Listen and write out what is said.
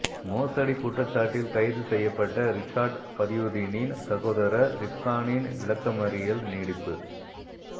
மோசடி குற்றச்சாட்டில் கைது செய்யப்பட்ட ரிஷாட் பதியுதீனின் சகோதரர் ரிப்கானின் விளக்கமறியல் நீடிப்பு